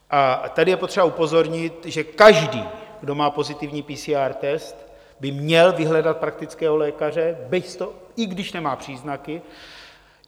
A tady je potřeba upozornit, že každý, kdo má pozitivní PCR test, by měl vyhledat praktického lékaře, i když nemá příznaky.